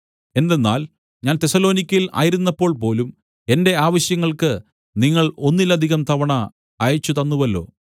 എന്തെന്നാൽ ഞാൻ തെസ്സലോനിക്യയിൽ ആയിരുന്നപ്പോൾ പോലും എന്റെ ആവശ്യങ്ങൾക്ക് നിങ്ങൾ ഒന്നിലധികം തവണ അയച്ചുതന്നുവല്ലോ